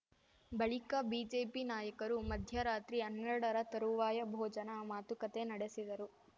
ಬಳಿಕ ಬಿಜೆಪಿ ನಾಯಕರು ಮಧ್ಯರಾತ್ರಿ ಹನ್ನೆರಡರ ತರುವಾಯ ಭೋಜನ ಮಾತುಕತೆ ನಡೆಸಿದರು